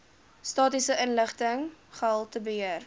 statistiese inligting gehaltebeheer